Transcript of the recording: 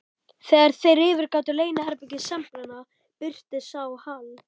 Þegar þeir yfirgáfu leyniherbergi sembalanna, birtist sá Hal